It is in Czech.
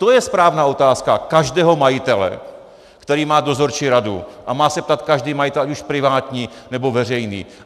To je správná otázka každého majitele, který má dozorčí radu, a má se ptát každý majitel, ať už privátní, nebo veřejný.